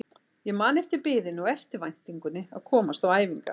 Ég man eftir biðinni og eftirvæntingunni að komast á æfingar.